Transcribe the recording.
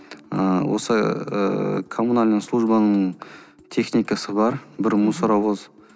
ыыы осы ыыы коммунальный службаның техникасы бар бір мусоровоз